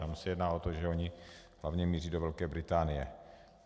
Tam se jedná o to, že oni hlavně míří do Velké Británie.